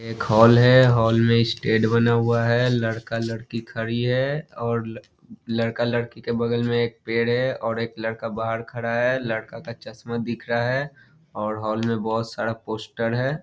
एक हॉल है हॉल में स्टेज बना हुआ है लड़का-लड़की खाड़ी है और लड़का-लड़की के बगल में एक पेड़ है और एक लड़का बाहर खड़ा है लड़का का चश्मा दिख रहा है और हॉल में बहुत सारा पोस्टर है।